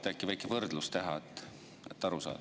Äkki teed väikese võrdluse, et aru saaks.